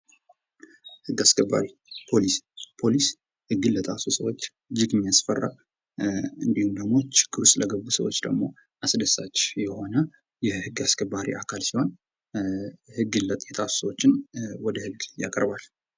ህግ አስከባሪ ፖሊስ ፖሊስ ህግ ለጣሱ ሰዎች እጅግ የሚያስፈራ እንዲሁም ደግሞ ችግር ውስጥ ለገቡ ሰዎች ደግሞ አስደሳች የሆነ የህግ አስከባሪ አካል ሲሆን ግን ህግን የጣሱ ሰዎችን ወደ ህግ ያቀርባል።